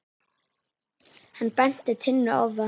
Hann benti Tinnu á það.